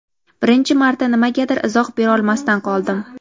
Birinchi marta nimagadir izoh berolmasdan qoldim.